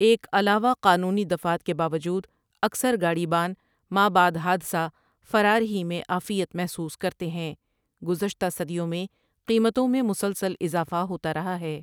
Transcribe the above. ایک علاوہ قانونی دفعات کے باوجود اکثر گاڑی بان ما بعد حادثہ فراری ہی میں عافیت محسوس کرتے ہیں گزشۃ صدیوں میں قیمتوں میں مسلسل اضافہ ہوتا رہا ہے ۔